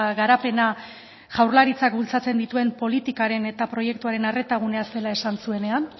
garapena jaurlaritzak bultzatzen dituen politikaren eta proiektuaren arreta gunea zela esan zuenean